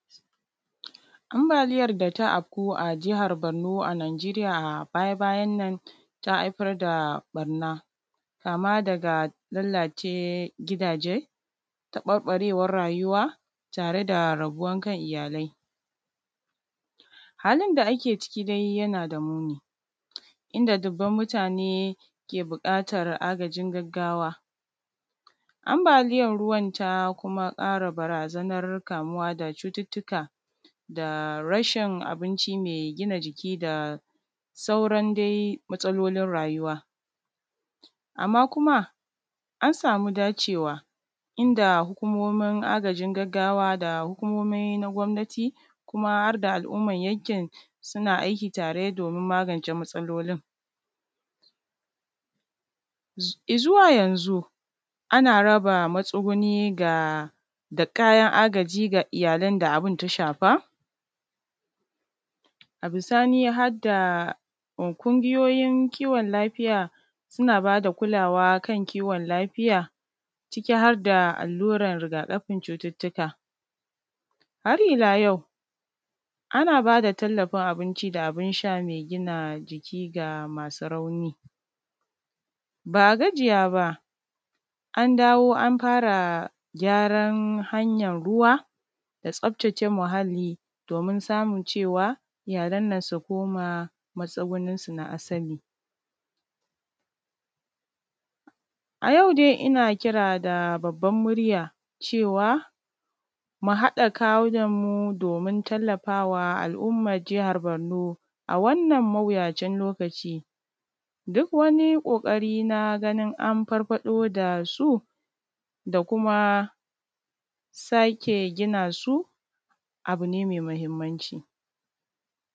Ambaliyar da ta afku a Jihar Borno a Najeriya a baya-bayannan ta aifar da ƃarna kama daga lallace gidaje, taƃarƃarewar rayuwa tare da rabuwan kan iyalai. Halin da ake ciki dai yana da muni, inda dubban mutane ke buƙata agajin gaggawa. Ambaliyar ruwan, ta kuma ƙara barazanar kamuwa da cututtuka da rashin abinci me gina jiki da sauran dai matsalolin rayuwa. Amma kuma, an samu dacewa, inda hukumomin agajin gaggawa da hukumomi na gwamnati kuma har da al’umar yankin, suna aiki tare domin magance matsalolin. Z; i zuwa yanzu, ana raba matsuguni ga da kayan agaji ga iyalan da abin ta shafa, a bisani ha da m kungiyoyin kiwon lafiya, suna ba da kulawa kan kiwon lafiya ciki har da allurer riga-ƙafin cututtuka. Har ila yau, ana ba da tallafin abinci da abin sha me gina jiki ga masu rauni. Ba a gajiya ba, an dawo an fara gyaran hanyan ruwa da tsaftace muhalli, domin samun cewa iyalan nan su koma matsuguninsu na asali. A yau dai, ina kira da babban murya, cewa mu haɗa kawunanmu domin tallafa wa al’ummar Jahar Borno a wannan mawuyacin lokaci, duk wani ƙoƙari na ganin an farfaɗo da su, da kuma sake gina su, abu ne me mahimmanci.